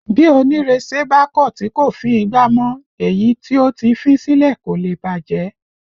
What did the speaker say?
Bí onirese bá kọ tí kò fín ìgbà mọ, èyí tó ti fín sílẹ̀ kò lè bàjẹ́